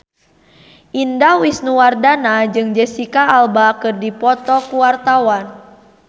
Indah Wisnuwardana jeung Jesicca Alba keur dipoto ku wartawan